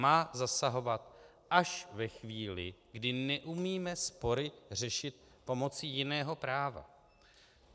Má zasahovat až ve chvíli, kdy neumíme spory řešit pomocí jiného práva.